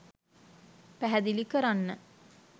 පැහැදිලි කරන්න.